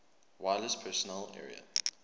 wireless personal area